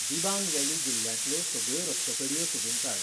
Dibang valley जिल्ल्यांतल्यो सगळ्यो रक्तपेढयो सोदून काड.